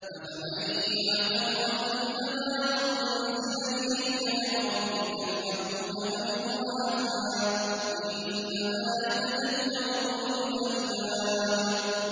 ۞ أَفَمَن يَعْلَمُ أَنَّمَا أُنزِلَ إِلَيْكَ مِن رَّبِّكَ الْحَقُّ كَمَنْ هُوَ أَعْمَىٰ ۚ إِنَّمَا يَتَذَكَّرُ أُولُو الْأَلْبَابِ